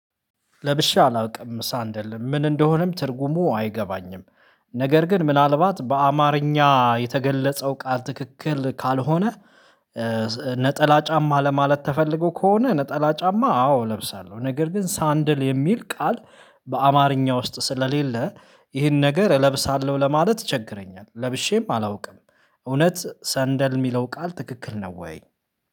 ለብሼ አላውቅም ሰንደል ምን እንደሆነም ትርጉሙ አይገባኝም። ነገር ግን ምናልባት በአማርኛ የተገለጸው ቃል ትክክል ካልሆነ። ነጠላ ጫማ ለማለት ተፈልጎ ከሆነ ነጠላ ጫማ አዎ እለብሳለሁ ነገር ግን ሰንደል የሚል ቃል። በአማርኛ ውስጥ ስለሌለ ይህን ነገር እለብሳለሁ ለማለት ይቸግረኛል። ለብሼም አላውቅም። እውነት ሰንደል የሚለው ቃል ትክክል ነው ወይ?